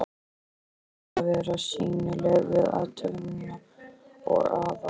Lögreglan átti að vera sýnileg við athöfnina og Aðal